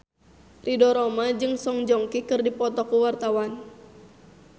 Ridho Roma jeung Song Joong Ki keur dipoto ku wartawan